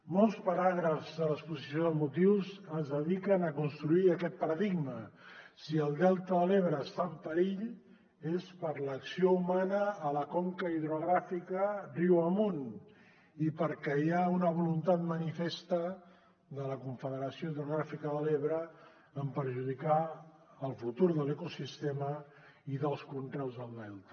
molts paràgrafs de l’exposició de motius es dediquen a construir aquest paradigma si el delta de l’ebre està en perill és per l’acció humana a la conca hidrogràfica riu amunt i perquè hi ha una voluntat manifesta de la confederació hidrogràfica de l’ebre de perjudicar el futur de l’ecosistema i dels conreus del delta